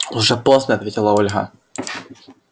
уже поздно ответила ольга